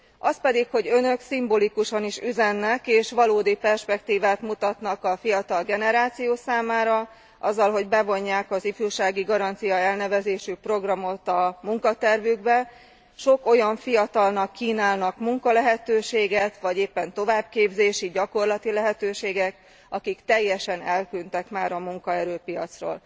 Az pedig, hogy Önök szimbolikusan is üzennek, és valódi perspektívát mutatnak a fiatal generáció számára, azzal, hogy bevonják az Ifjúsági Garancia elnevezésű programot a munkatervükbe, sok olyan fiatalnak kínálnak munkalehetőséget vagy éppen továbbképzési, gyakorlati lehetőséget, akik teljesen eltűntek már a munkaerőpiacról.